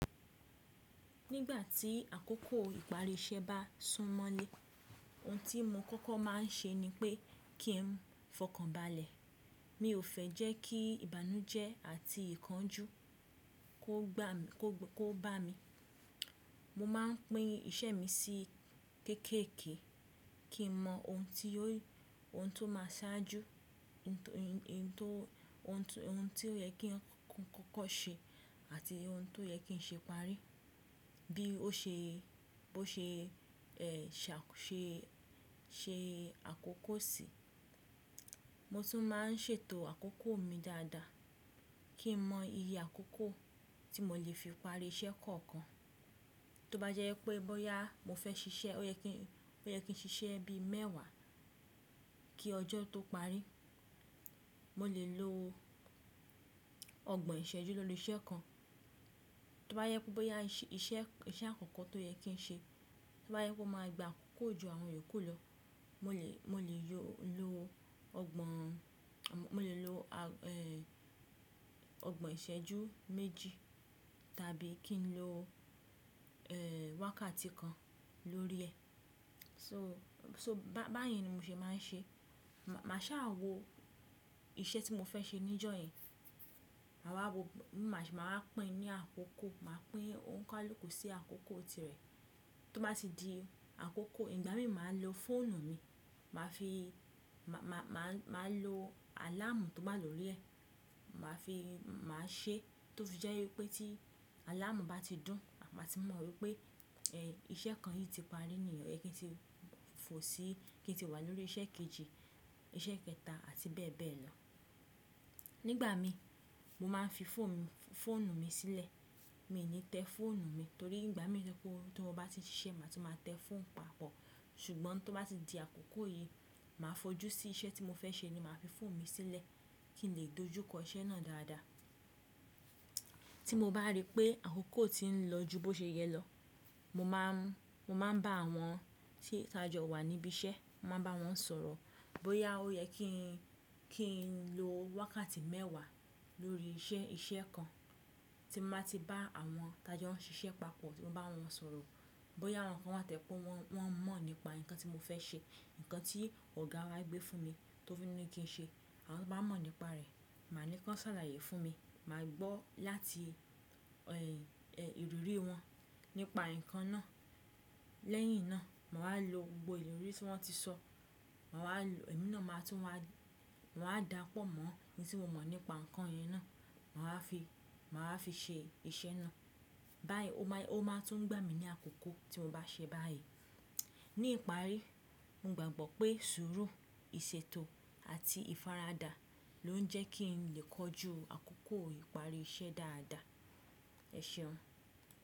Nígbà tí àkókò ìparí iṣẹ́ bá súnmọ́lé, ohun tí mo kọ́kọ́ má a ń ṣe ni pé kí n fọkànbalẹ̀. Mi ò fẹ́ jẹ́ kí ìbànújẹ́ àti ìkánjú kó bá mi. Mo má a n pín iṣẹ́ mi sí kéékèèké kí n mọ ohun tó má a ṣáájú, ohun tó yẹ kí n kọ́kọ́ ṣe àti ohun tó yẹ kí n ṣe pàrí bí ó ṣe àkókò sì. Mo tún má a ń ṣètò àkókò mi dáadáa kí n mọ iye àkókò tí mo lè fi parí iṣẹ́ kọ̀ọ̀kan. Tó bá jẹ́ pé bóyá mo fẹ́ ṣiṣẹ́, ó yẹ kí n ṣiṣẹ́ bí mẹ́wàá kí ọjọ́ tó parí. Mo lè lo ọgbọ̀n ìṣẹ́jú lórí iṣẹ́ kan. Tó bá yẹ kó bóyá iṣẹ́ àkọ́kọ́ tó yẹ kí n ṣe, tó bá yẹ kó máa gba àkókò ju àwọn iyokú lọ, mo lè lo ọgbọ̀n ìṣẹ́jú méjì tàbí kí n lo wákàtí kan lórí ẹ̀. So báyìí ni mo ṣe má a ń ṣe. Mà á ṣàà wo iṣẹ́ tí mo fẹ́ ṣe ní ìjọ̀yen yẹn. Mà á pín ní àkókò, mà á pín onikaluku si àkókò tirẹ̀. Tó bá ti di àkókò, ìgbà mi mà á lo fóònù mi, mà á lo àláàmù tó wá lórí ẹ̀. Mà á ṣe tó fi jẹ́ wípé tí àláàmù bá ti dún, mà á ti mọ̀ wípé iṣẹ́ kan yìí ti parí níyẹ́n kí n lè fò si, kí n lè wà lórí iṣẹ́ kejì, iṣẹ́ kẹta àti bẹ́ẹ̀ bẹ́ẹ̀ lọ. Nígbà mi, mo má a fi fóònù mi sílẹ̀. Mi ò ní tẹ fóònù mi torí ìgbà mi jẹ kó tó bá ti ṣe, mà á tún máa tẹ fóònù papọ̀. Ṣùgbọ́n tó bá ti di àkókò yìí, mà á fojú sí iṣẹ́ tí mo fẹ́ ṣe ni mà á fi fóònù mi sílẹ̀ kí n lè dojú kọ iṣẹ́ náà dáadáa. Tí mo bá rí pé àkókò ti ń lọ ju bó ṣe yẹ lọ, mo má a ń bá àwọn tí tajo wà níbí iṣẹ́, mo máa ń bá wọn sọ̀rọ̀ bóyá ó yẹ kí n lo wákàtí mẹ́wàá lórí iṣẹ́ kan. Tí mo bá ti bá àwọn tajo ń ṣiṣẹ́ papọ̀, tí mo bá wọn sọ̀rọ̀, bóyá àwọn kan wà tẹ́kọ́, wọ́n mọ̀ nípa nǹkan tí mo fẹ́ ṣe, nǹkan tí ọ̀gá wa gbé fún mi tó fi ni pé kí n ṣe. Àwọn tó bá mọ̀ nípa rẹ̀, mà á ní kí wọn ṣàlàyé fún mi, mà á gbọ́ láti ìrírí wọn nípa nǹkan náà. Lẹ́yìn náà, mà á lo gbogbo èrò tí wọ́n ti sọ, ẹ̀mí náà máa tún wá, mà á dapọ̀ mọ́ ohun tí mo mọ̀ nípa nǹkan yìí náà, mà á fi ṣe iṣẹ́ náà. Báyìí, ó máa tún gbà mí ní àkókò tí mo bá ṣe báyìí. Ní ìparí, mo gbàgbọ́ pé sùúrù, ìṣètò àti ìfaradà ló ń jẹ́ kí n lè kọjú àkókò ìparí iṣẹ́ dáadáa. Ẹ ṣeun.